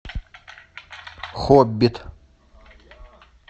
хоббит